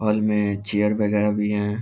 Hall में chair वगेरा भी है।